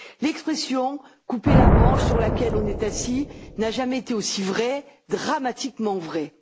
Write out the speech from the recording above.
L'expression couper la branche sur laquelle on est assis n'a jamais été aussi vraie, dramatiquement vraie.